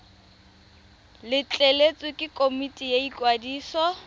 letleletswe ke komiti ya ikwadiso